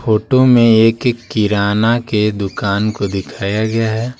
Photo में एक किराना के दुकान को दिखाया गया है।